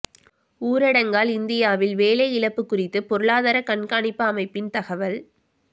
ஊரடங்கால் இந்தியாவில் வேலை இழப்பு குறித்து பொருளாதார கண்காணிப்பு அமைப்பின் தகவல்